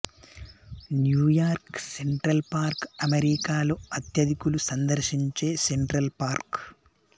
New York Central Park అమెరికాలో అత్యధికులు సందర్శించే సెంట్రల్ పార్క్